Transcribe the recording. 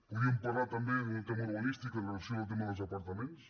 podríem parlar també d’un tema urba nístic amb relació al tema dels apartaments